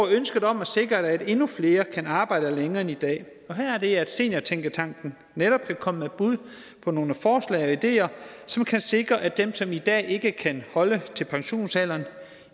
er ønsket om at sikre at endnu flere kan arbejde længere end i dag her er det at seniortænketanken netop kan komme med bud på nogle forslag og ideer som kan sikre at dem som i dag ikke kan holde til pensionsalderen